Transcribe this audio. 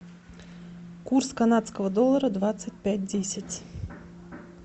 курс канадского доллара двадцать пять десять